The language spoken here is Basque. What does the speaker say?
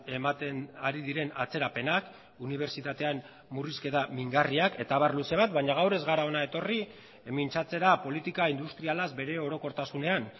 ematen ari diren atzerapenak unibertsitatean murrizketa mingarriak eta abar luze bat baina gaur ez gara hona etorri mintzatzera politika industrialaz bere orokortasunean